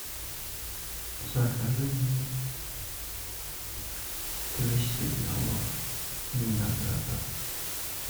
закажи мне двести граммов винограда